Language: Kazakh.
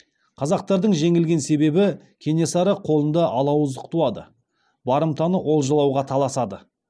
қазақтардың жеңілген себебі кенесары қолында алауыздық туады барымтаны олжалауға таласады